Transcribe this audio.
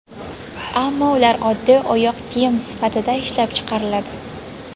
Ammo ular oddiy oyoq kiyim sifatida ishlab chiqariladi.